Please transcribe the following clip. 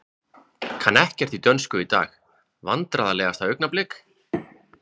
Kann ekkert í dönsku í dag Vandræðalegasta augnablik?